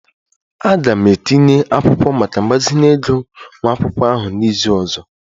Aga m etinye akwụkwọ maka mgbazinye ego nwa akwụkwọ ahụ n'izu ọzọ